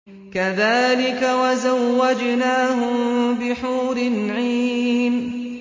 كَذَٰلِكَ وَزَوَّجْنَاهُم بِحُورٍ عِينٍ